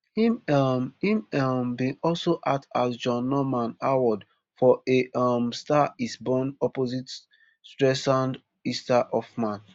im um im um bin also act as john norman howard for a um star is born opposite streisands ester hoffman